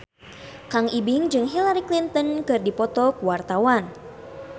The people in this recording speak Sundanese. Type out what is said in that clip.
Kang Ibing jeung Hillary Clinton keur dipoto ku wartawan